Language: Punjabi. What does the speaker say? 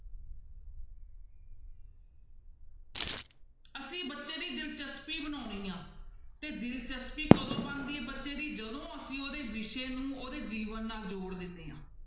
ਅਸੀਂ ਬੱਚੇ ਦੀ ਦਿਲਚਸਪੀ ਬਣਾਉਣੀ ਆਂ ਤੇ ਦਿਲਚਸਪੀ ਕਦੋਂ ਬਣਦੀ ਹੈ ਬੱਚੇ ਦੀ ਜਦੋਂ ਅਸੀਂ ਉਹਦੇ ਵਿਸ਼ੇ ਨੂੰ ਉਹਦੇ ਜੀਵਨ ਨਾਲ ਜੋੜ ਦਿੰਦੇ ਹਾਂ।